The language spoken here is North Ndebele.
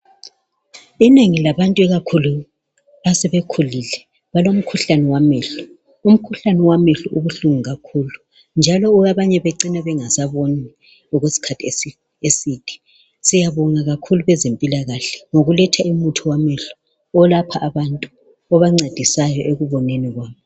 Inengi labantu ikakhulu abasebekhulile balomkhuhlane wamehlo, umkhuhane wamehlo ubuhlungu kakhulu njalo abanye becine bengasaboni okwesikhathi eside siyabonga kakhulu bezempilakahle ngokuletha umuthi wamehlo olapha abantu obancedisayo ekuboneni kwabo.